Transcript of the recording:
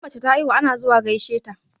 Idan mace ta haihu ana zuwa gaishe ta.